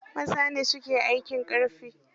Maza ne su ke aikin ƙarfi.